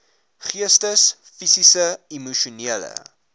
geestes fisiese emosionele